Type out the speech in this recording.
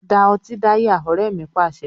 Da ọtí dáyà! Ọrẹ mi Pàṣẹ.